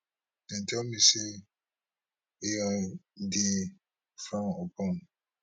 dem tell me say ai dey frowned upon